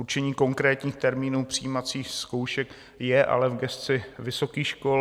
Určení konkrétních termínů přijímacích zkoušek je ale v gesci vysokých škol.